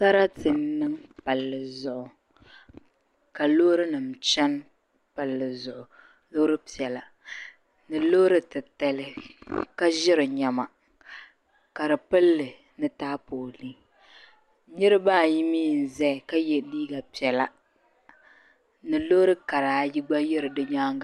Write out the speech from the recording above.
Sarati n niŋ palli zuɣu ka loori nima chani palli zuɣu loori piɛla ni loori titali ka ʒiri niɛma ka di pilli ni taapoolii niraba ayimii n ʒɛya ka yɛ liiga piɛla ni loori kara ayi gba yiri di nyaanga na